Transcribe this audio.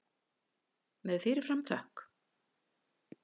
Með fyrir fram þökk.